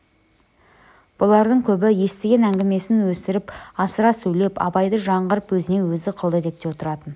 бұлардың көбі естіген әңгімесін өсіріп асыра сөйлеп абайды жаңғырып өзіне өзі қылды деп те отыратын